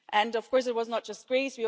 Of course, it was not just Greece